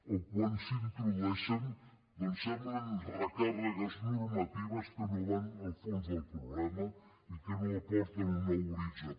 o quan s’introdueixen doncs semblen recàrregues normatives que no van al fons del problema i que no aporten un nou horitzó